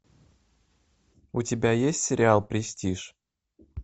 у тебя есть сериал престиж